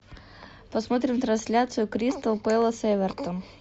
посмотрим трансляцию кристал пэлас эвертон